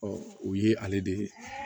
o ye ale de